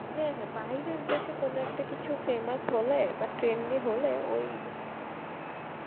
হ্যাঁ হ্যাঁ বাইরের দেশে কোন একটা কিছু famous হলে বা trendy হলে ওই,